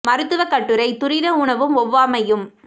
மருத்துவக் கட்டுரை துரித உணவும் ஒவ்வாமையும்